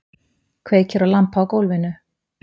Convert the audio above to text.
Kveikir á lampa á gólfinu.